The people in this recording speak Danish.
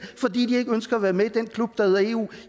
fordi de ikke ønsker at være med i den klub der hedder eu